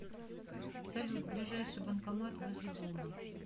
салют ближайший банкомат возле дома